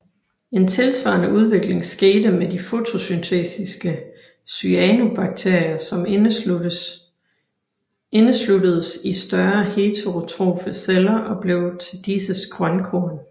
En tilsvarende udvikling skete med de fotosyntetiske cyanobakterier som indesluttedes i større heterotrofe celler og blev til disses grønkorn